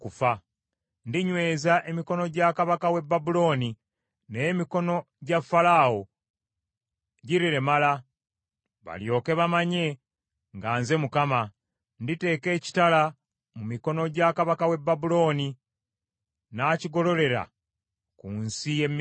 Ndinyweza emikono gya kabaka w’e Babulooni, naye emikono gya Falaawo giriremala, balyoke bamanye nga nze Mukama . Nditeeka ekitala mu mikono gya kabaka w’e Babulooni, n’akigololera ku nsi y’e Misiri.